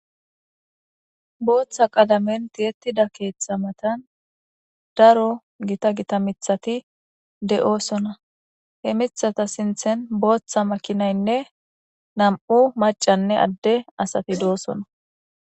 booththa qalamenti ettida keeththa matan daro gita gita mithati de7oosona he mithata sinthen booththa makinaynne nam7u macanne adde asati doosona